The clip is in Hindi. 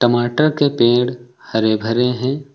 टमाटर के पेड़ हरे भरे हैं।